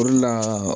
O de la